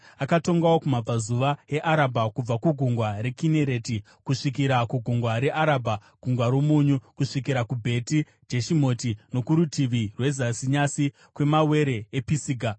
Akatongawo kumabvazuva eArabha kubva kuGungwa reKinereti kusvikira kuGungwa reArabha (Gungwa roMunyu), kusvikira kuBheti Jeshimoti, nokurutivi rwezasi nyasi kwemawere ePisiga.